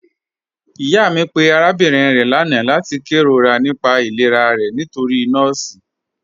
Iyà mi pẹ̀ arábìnrin rẹ̀ lána lati kèróra nípà ìlẹ̀rà rẹ̀ nítorí nọọ̀si ni.